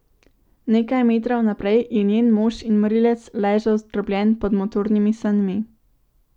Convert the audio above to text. Nekaj metrov naprej je njen mož in morilec ležal zdrobljen pod motornimi sanmi.